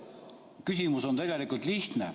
Küsimus on tegelikult lihtne.